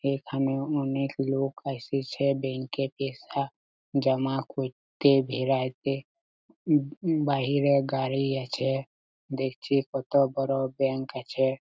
এখানে অনেক লোক আসেছে ব্যাঙ্ক -এ পেশা জামা করতে বেরাইতে উম উব বাইরে গাড়ি আছে দেখছি কত বড়ো ব্যাঙ্ক আছে।